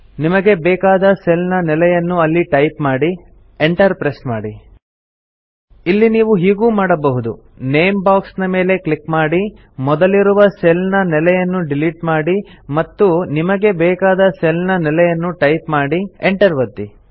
ನಿಮಗೆ ಬೇಕಾದ ಸೆಲ್ ನ ನೆಲೆಯನ್ನು ಅಲ್ಲಿ ಟೈಪ್ ಮಾಡಿ Enter ಪ್ರೆಸ್ ಮಾಡಿ ಇಲ್ಲಿ ನೀವು ಹೀಗೂ ಮಾಡಬಹುದು ನೇಮ್ ಬಾಕ್ಸ್ ನ ಮೇಲೆ ಕ್ಲಿಕ್ ಮಾಡಿ ಮೊದಲಿರುವ ಸೆಲ್ ನ ನೆಲೆಯನ್ನು ಡಿಲೀಟ್ ಮಾಡಿ ಮತ್ತು ನಿಮಗೆ ಬೇಕಾದ ಸೆಲ್ ನ ನೆಲೆಯನ್ನು ಟೈಪ್ ಮಾಡಿ Enter ಒತ್ತಿ